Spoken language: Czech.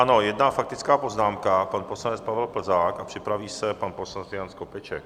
Ano, jedna faktická poznámka - pan poslanec Pavel Plzák a připraví se pan poslanec Jan Skopeček.